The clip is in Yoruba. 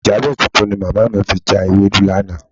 Ìjábẹ̀ tuntun ni mọ̀mọ́ mi fi já ewédú lánàá.